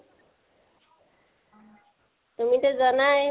তুমিটো জানাই